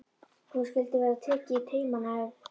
Nú skyldi verða tekið í taumana, ef.